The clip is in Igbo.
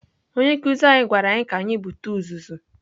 Onye nkụzi anyị gwara anyị ka anyị bute uzuzu.